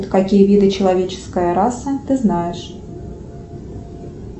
какие виды человеческой расы ты знаешь